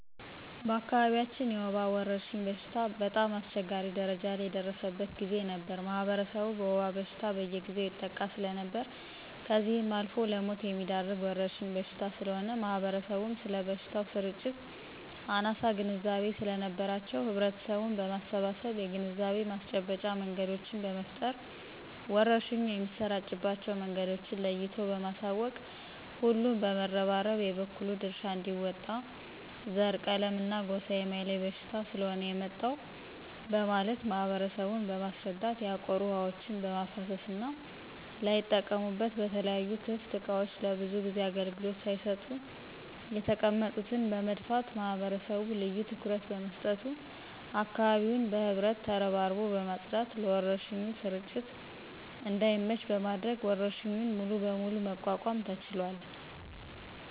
በአካባቢያችን የወባ ወረርሽኝ በሽታ በጣም አስቸጋሪ ደረጃ ላይ የደረሰበት ጊዜ ነበር ማህበረሰቡ በወባ በሽታ በየጊዜው ይጠቃ ሰለነበር ከዚህ አልፎም ለሞት የሚዳርግ ወረርሽኝ በሽታ ስለሆነ ማህበረሰቡም ስለበሽታው ስርጭት አናሳ ግንዛቤ ሰለነበራቸው ህብረተሰቡን በማሰባሰብ የግንዛቤ ማስጨበጫ መንገዶችን በመፍጠር ወረርሽኙ የሚሰራጭባቸው መንገዶችን ለይቶ በማሳወቅ ሁሉም በመረባረብ የበኩሉን ድርሻ አንዲወጣ ዘረ :ቀለምና ጎሳ የማይለይ በሽታ ስለሆነ የመጣው በማለት ማህበረሰቡን በማስረዳት ያቆሩ ውሀዎችን በማፋሰስና ላይጠቀሙበት በተለያዩ ክፍት እቃዎች ለብዙ ጊዜ አገልግሎት ሳይሰጡ የተቀመጡትን በመድፋት ማህበረሰቡ ልዮ ትኩረት በመስጠቱ አካባቢውን በህብረት ተረባርቦ በማጽዳት ለወረርሽኙ ስርጭት እዳይመች በማድረግ ወረርሽኙን ሙሉ በሙሉ መቋቋም ተችሏል።